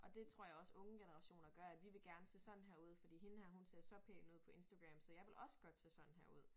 Og det tror jeg os unge generationer gør at vi vil gerne se sådan her ud fordi hende her hun ser så pæn ud på Instagram så jeg vil også godt se sådan her ud